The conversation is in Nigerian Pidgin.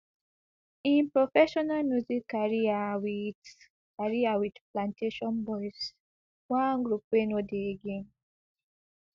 im professional music career wit career wit plantashun boiz one group wey no dey again